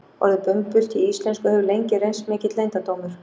Orðið bumbult í íslensku hefur lengi reynst mikill leyndardómur.